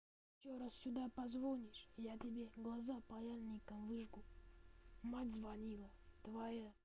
ещё раз сюда позвонишь я тебе глаза паяльником выжгу мать звонила твоя